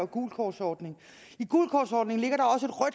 gult kort ordningen i gult